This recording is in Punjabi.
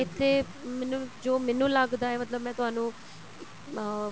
ਇੱਥੇ ਮੈਨੂੰ ਜੋ ਮੈਂਨੂੰ ਲੱਗਦਾ ਮਤਲਬ ਮੈਂ ਤੁਹਾਨੂੰ ਅਹ